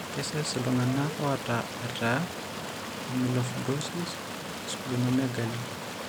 Kesesh iltung'anak oata eeta emyelofibrosis osplenomegaly.